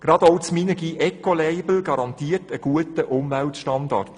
Gerade auch das Minergie-P-ECO-Label garantiert einen guten Umweltstandard.